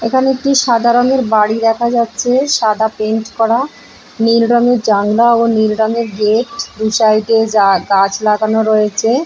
এইখানে একটি সাদা রঙের বাড়ি দেখা যাচ্ছে সাদা পেইন্ট করা নীল রং এর জানলা ও নীল রঙের গেট দু সাইড - এ যা- গাছ লাগানো রয়েছে--